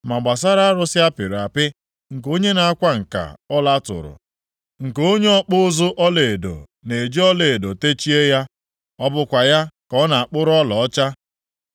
Ma gbasara arụsị apịrị apị, nke onye na-akwa nka ọla tụrụ, nke onye ọkpụ ụzụ ọlaedo na-eji ọlaedo techie ya, ọ bụkwa ya ka ọ na-akpụrụ ọlaọcha.